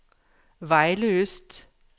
Vejle Øst